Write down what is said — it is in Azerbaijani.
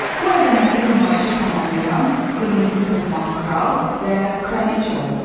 Bu əzəmətli nümayişi tamamlayan qırmızı toxmaq kral və kraliç oldu.